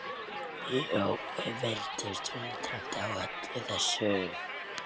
Jói virtist undrandi á öllu þessu.